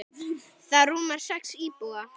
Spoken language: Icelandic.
Það rúmar sex íbúa.